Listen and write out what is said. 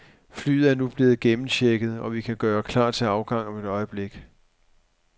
Flyet er nu blevet gennemchecket, og vi kan gøre klar til afgang om et øjeblik.